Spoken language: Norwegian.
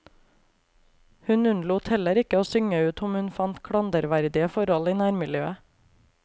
Hun unnlot heller ikke å synge ut om hun fant klanderverdige forhold i nærmiljøet.